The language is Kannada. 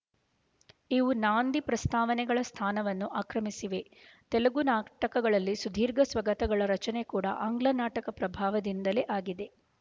ಇವು ನಾಂದಿ ಪ್ರಸ್ತಾವನೆಗಳ ಸ್ಥಾನವನ್ನು ಆಕ್ರಮಿಸಿವೆ ತೆಲುಗು ನಾಟಕಗಳಲ್ಲಿ ಸುದೀರ್ಘ ಸ್ವಗತಗಳ ರಚನೆ ಕೂಡಾ ಆಂಗ್ಲನಾಟಕ ಪ್ರಭಾವದಿಂದಲೇ ಆಗಿದೆ